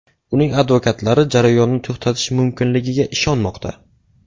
Uning advokatlari jarayonni to‘xtatish mumkinligiga ishonmoqda.